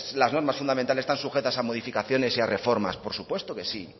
las normas fundamentales están sujetas a modificaciones de reformas por supuesto que sí